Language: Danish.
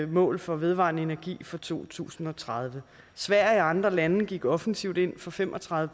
mål for vedvarende energi for to tusind og tredive sverige og andre lande gik offensivt ind for fem og tredive